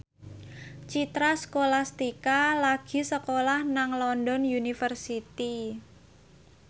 Citra Scholastika lagi sekolah nang London University